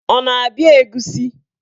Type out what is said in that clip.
Ọ na-abịa egusi?